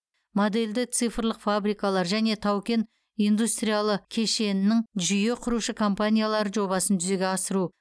модельді цифрлық фабрикалар және тау кен индустриялы кешенінің жүйе құрушы компаниялары жобасын жүзеге асыру